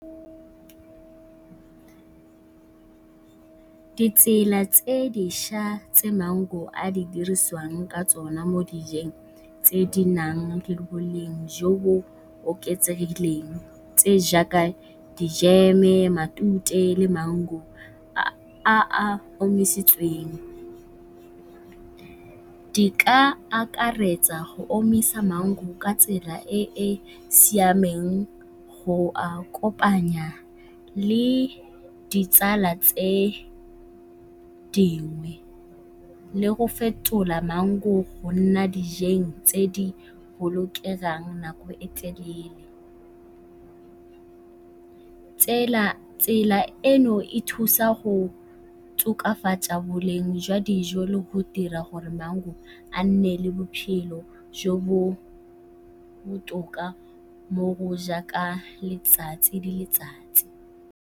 Ditsela tse dišwa tse maungo a diriswang ka tsona mo dijeng tse di nang le boleng jo bo oketsegileng tse jaaka di-jam-e, matute le maungo a a omisitsweng. Di ka akaretsa go omisa maungo ka tsela e e siameng go a kopanya le ditsala tse dingwe le go fetola maungo go nna dijeng tse di bolokelang nako e telele. Tsela e e thusa go tokafatsa boleng jwa dijo le go dira gore maungo a nne le bophelo jo bo botoka mo go jaaka letsatsi le letsatsi.